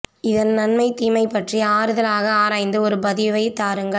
இதன் நன்மை தீமை பற்றி ஆறுதலாக ஆராந்து ஒரு பதிவை தாருங்கள்